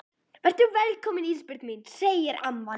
Vertu velkomin Ísbjörg mín, segir amman.